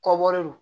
Kɔbɔre don